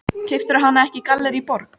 Veltur framtíð mín á úrslitum þessa leiks?